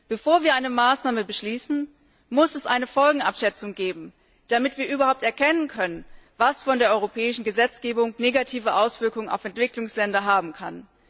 Bevor wir eine Maßnahme beschließen, muss es eine Folgenabschätzung geben, damit wir überhaupt erkennen können, was von der europäischen Gesetzgebung negative Auswirkungen auf Entwicklungsländer haben kann.